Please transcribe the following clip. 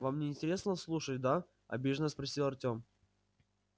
вам не интересно слушать да обиженно спросил артем